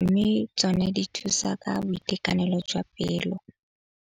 Mme tsone di thusa ka boitekanelo jwa pelo.